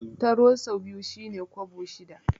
Taro sau biyu shi ne kwabo shida.